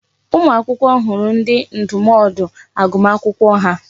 Ụmụ akwụkwọ hụrụ ndi ndụmọdụ agụmakwụkwọ ha.